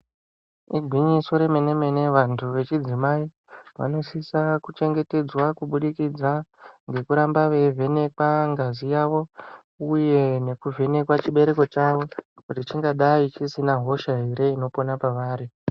Igwinyiso remene-mene vantu vechidzimai vanosisa kuchengetedzwa kubudikidza ngekuramba veivhenekwa ngazi yavo uye nekuvhenekwa chibereko chavo kuti chingadai chisina hosha ere inopona pavari.